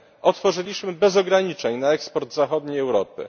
otworzyliśmy bez ograniczeń na eksport zachodniej Europy.